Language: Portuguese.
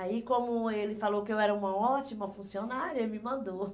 Aí como ele falou que eu era uma ótima funcionária, ele me mandou.